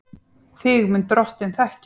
Þig mun Drottinn þekkja.